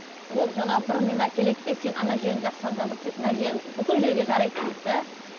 ол жаңағы бір нені әкеледі де сен ана жерің жақсаң жазылып кетті мына жерің бүкіл жерге жарайды дейді де